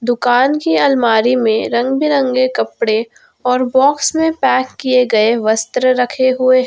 दुकान की अलमारी में रंग बिरंगे कपड़े और बॉक्स में पैक किए गए वस्त्र रखे हुए--